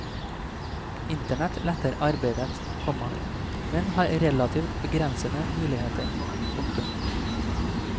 Internett letter arbeidet, komma men har relativt begrensede muligheter. punktum